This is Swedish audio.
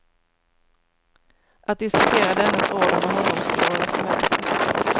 Att diskutera dennes order med honom skulle vara förmätet.